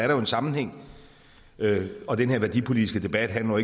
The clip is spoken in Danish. jo en sammenhæng og den her værdipolitiske debat handler